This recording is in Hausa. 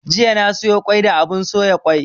Jiya na soya kwai da abun soya kwai